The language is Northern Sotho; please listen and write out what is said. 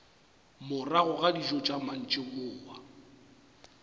morago ga dijo tša mantšiboa